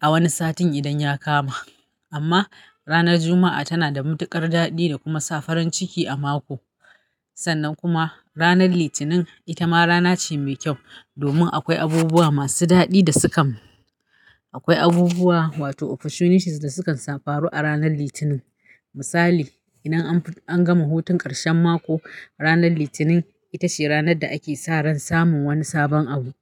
a wani satin idan ya kama. Amma ranar Juma'a tana da matuƙar daɗi da kuma sa farin ciki a mako. Sannan kuma ranar Litinin ita ma rana ce mai kyau domin akwai abubuwa masu daɗi da sukan Akwai abubuwa wato opportunities da sukan samu faru a ranar Litinin. Misali, idan an gama hutun ƙarshen mako, ranar Litinin ita ce ranar da ake sa ran samun wani sabon abu.